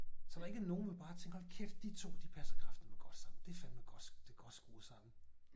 Så der ikke nogen hvor man bare tænker hold kæft de to de passer kraftedme godt sammen det fandme godt det godt skruet sammen